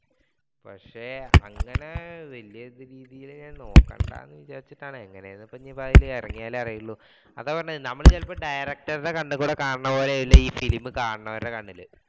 പക്ഷെ അങ്ങനെ വല്യ രീതിയിൽ ഞാൻ നോക്കണ്ടാന്ന് വിചാരിച്ചാട്ടാണ് എങ്ങനെ ആ ഇപ്പോ ഇറങ്ങിയാ ലേ അറിയുള്ളൂ അതാ പറയുന്നേ നമ്മൾ ചിലപ്പോ directors കണ്ണിൽ കൂടി കാണുന്ന പോലെയല്ല അല്ല ഈ film കാണുന്നവരുടെ കണ്ണിൽ